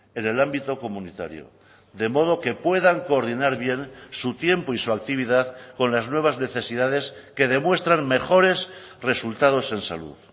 en el ámbito comunitario de modo que puedan coordinar bien su tiempo y su actividad con las nuevas necesidades que demuestran mejores resultados en salud